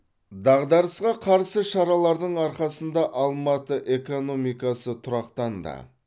дағдарысқа қарсы шаралардың арқасында алматы экономикасы тұрақтанды